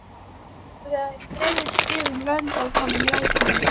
Þær dreifðust víða um lönd að honum látnum.